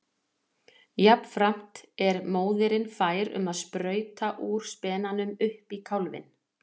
Jafnframt er móðirin fær um að sprauta úr spenanum upp í kálfinn.